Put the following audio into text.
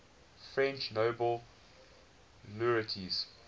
french nobel laureates